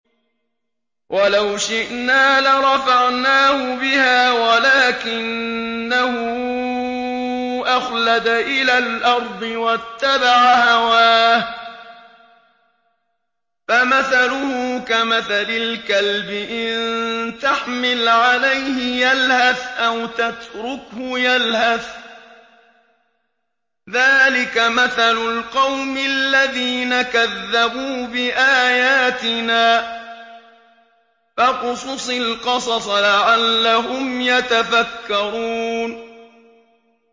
وَلَوْ شِئْنَا لَرَفَعْنَاهُ بِهَا وَلَٰكِنَّهُ أَخْلَدَ إِلَى الْأَرْضِ وَاتَّبَعَ هَوَاهُ ۚ فَمَثَلُهُ كَمَثَلِ الْكَلْبِ إِن تَحْمِلْ عَلَيْهِ يَلْهَثْ أَوْ تَتْرُكْهُ يَلْهَث ۚ ذَّٰلِكَ مَثَلُ الْقَوْمِ الَّذِينَ كَذَّبُوا بِآيَاتِنَا ۚ فَاقْصُصِ الْقَصَصَ لَعَلَّهُمْ يَتَفَكَّرُونَ